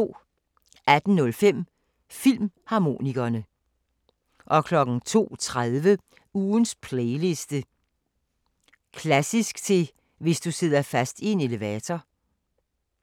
18:05: Filmharmonikerne 02:30: Ugens playliste: Klassisk til hvis du sidder fast i en elevator